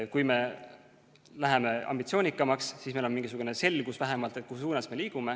Kui me läheme ambitsioonikamaks, siis on meil vähemalt mingisugune selgus, mis suunas me liigume.